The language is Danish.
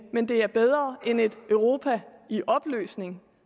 men det er bedre end et europa i opløsning